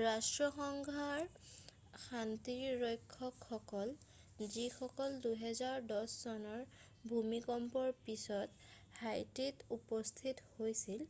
ৰাষ্ট্ৰসংঘৰ শান্তিৰক্ষকসকলক যিসকল 2010 চনৰ ভূমিকম্পৰ পাছত হাইটিত উপস্থিত হৈছিল